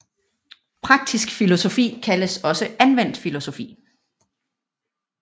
Praktisk filosofi kaldes også anvendt filosofi